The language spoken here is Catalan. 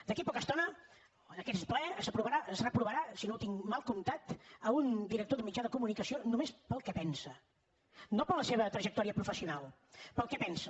d’aquí a poca estona en aquest ple es reprovarà si no ho tinc mal comptat un director d’un mitjà de comunicació només pel que pensa no per la seva trajectòria professional pel que pensa